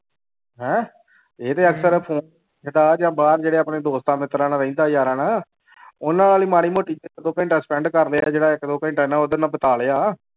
ਹੈਂ ਇਹ ਤੇ ਜਾਂ ਬਾਹਰ ਜਿਹੜੇ ਆਪਣੇ ਦੋਸਤਾਂ ਮਿੱਤਰਾਂ ਨਾਲ ਰਹਿੰਦਾ ਯਾਰਾਂ ਨਾਲ ਉਹਨਾਂ ਵਾਲੀ ਮਾੜੀ ਮੋਟੀ ਇੱਕ ਦੋ ਘੰਟਾ spend ਕਰਦੇ ਆ ਜਿਹੜਾ ਇੱਕ ਦੋ ਘੰਟਾ ਨਾ ਉਹਦੇ ਨਾਲ ਬਿਤਾ ਲਿਆ।